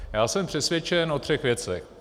Já jsem přesvědčen o třech věcech.